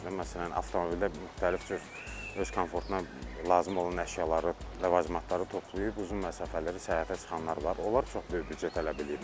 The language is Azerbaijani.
Məsələn, avtomobildə müxtəlif cür öz komfortuna lazım olan əşyaları, ləvazimatları toplayıb uzun məsafələrə səyahətə çıxanlar var, onlar çox böyük büdcə tələb eləyirlər.